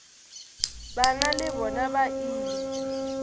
bana le bona ba ile